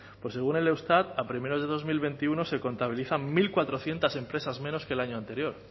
según el eustat a primeros de dos mil veintiuno se contabilizan mil cuatrocientos empresas menos que el año anterior